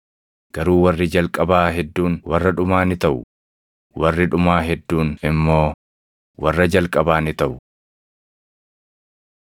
Garuu warri jalqabaa hedduun warra dhumaa ni taʼu; warri dhumaa hedduun immoo warra jalqabaa ni taʼu.